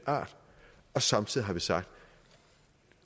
art og samtidig har vi sagt